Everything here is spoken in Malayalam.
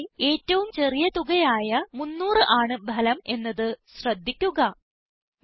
കോളത്തിലെ ഏറ്റവും ചെറിയ തുക ആയ 300 ആണ് ഫലം എന്നത് ശ്രദ്ധിക്കുക